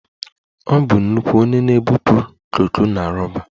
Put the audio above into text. Ọ bụ nnukwu onye na-ebupụ koko na roba